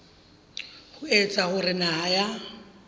ho etsa hore naha ya